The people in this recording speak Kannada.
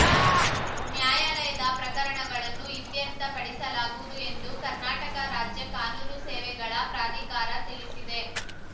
ನ್ಯಾಯಾಲಯದ ಪ್ರಕರಣಗಳನ್ನು ಇತ್ಯರ್ಥ ಪಡಿಸಲಾಗುವುದು ಎಂದು ಕರ್ನಾಟಕ ರಾಜ್ಯ ಕಾನೂನು ಸೇವೆಗಳ ಪ್ರಾಧಿಕಾರ ತಿಳಿಸಿದೆ